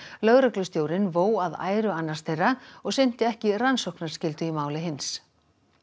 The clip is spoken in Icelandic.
lögreglustjórinn vó að æru annars þeirra og sinnti ekki rannsóknarskyldu í máli hins